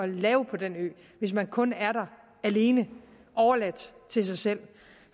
lave på den ø hvis man kun er der alene overladt til sig selv